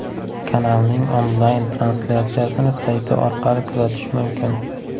Kanalning onlayn-translyatsiyasini sayti orqali kuzatish mumkin.